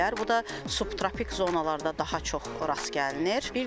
Bu da subtropik zonalarda daha çox rast gəlinir.